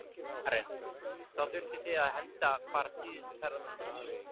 Karen: Þá þurftuð þið að henda bara síðustu ferðamönnunum út?